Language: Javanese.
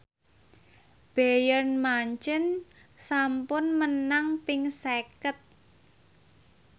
Bayern Munchen sampun menang ping seket